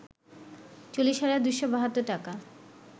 ৪০ হাজার ২৭২ টাকা